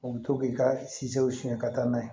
U bɛ to k'i ka sizew siɲɛ ka taa n'a ye